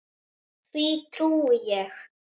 Því trúi ég.